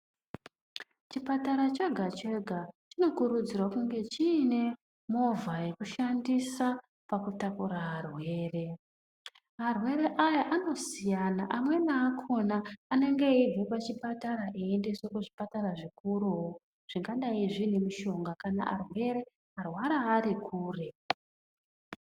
Chipatara chega-chega chinokurudzirwa kunge chine movha yekushandisa pakutakura arwere. Arwere aya anosiyana, amweni akona anenge eibve pachipatara eiendeswe pachipatara zvikuruwo zvingadai zvine mishonga, kana arwere-arwara ari kure.